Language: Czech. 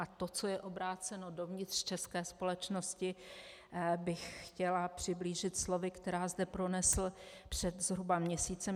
A to, co je obráceno dovnitř české společnosti, bych chtěla přiblížit slovy, která zde pronesl před zhruba měsícem.